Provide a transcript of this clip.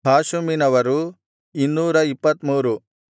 ಹಾಷುಮಿನವರು 223